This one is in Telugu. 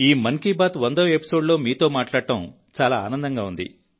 ఈ మన్ కీ బాత్ 100వ ఎపిసోడ్లో మీతో మాట్లాడటం చాలా ఆనందంగా ఉంది